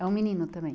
É um menino também?